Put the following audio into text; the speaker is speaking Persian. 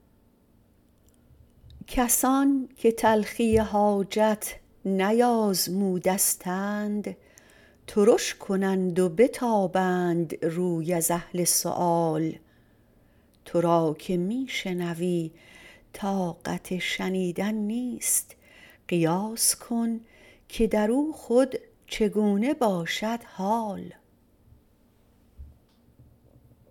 کسان که تلخی حاجت نیازمودستند ترش کنند و بتابند روی از اهل سؤال تو را که می شنوی طاقت شنیدن نیست قیاس کن که درو خود چگونه باشد حال